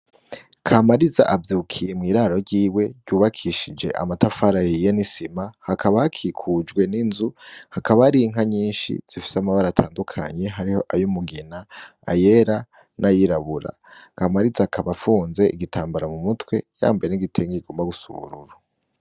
Kamariza avyukiye mw'iraro ryiwe ryubakishije amatafar'ahiye n'isima hakaba hakikujwe n'inzu , hakaba hari inka nyinshi zifis'amabara atandukanye hariho ay'umugina , ayera, n'ayirabura kamariza akaba afunze igitambara mu mutwe yambaye n'igitenge kigomba gusa n'ubururu.